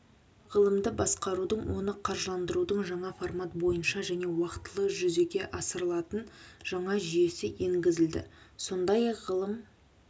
ғылымды басқарудың оны қаржыландырудың жаңа формат бойынша және уақтылы жүзеге асырылатын жаңа жүйесі енгізілді сондай-ақ ғылым